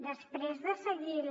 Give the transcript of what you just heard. després de seguir la